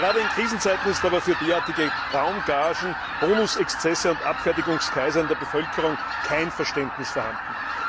Gerade in Krisenzeiten ist aber für derartige Traumgagen, Boniexzesse und Abfertigungskaiser in der Bevölkerung kein Verständnis vorhanden.